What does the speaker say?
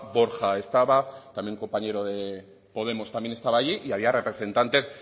borja estaba también un compañero de podemos estaba allí y había representantes